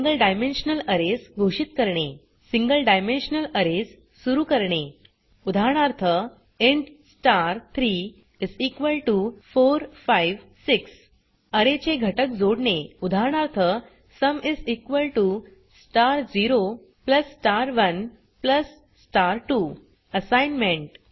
single dimensional array घोषित करणे single dimensional array सुरू करणे उदाहरणार्थ इंट star34 5 6 अरे चे घटक जोडणे उदाहरणार्थ sum is equal to star 0 plus star 1 plus star 2 assignment